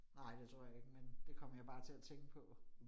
Nej det tror jeg ikke, men det kom jeg bare til at tænke på